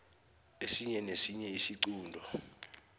esinye nesinye isiqunto